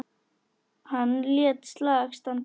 Hann lét slag standa.